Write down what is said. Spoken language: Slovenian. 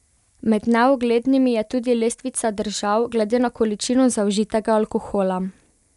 Med neuglednimi je tudi lestvica držav glede na količino zaužitega alkohola.